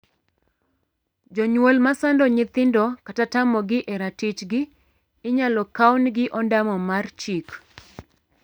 Jonyuol ma sando nyithindokata tamogi e ratichgi inyal kawnegi ondamo mar chik.